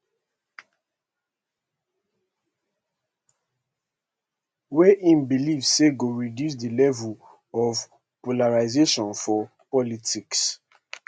wey im believe say go reduce di level of polarisation for politics